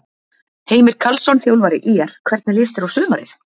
Heimir Karlsson, þjálfari ÍR Hvernig líst þér á sumarið?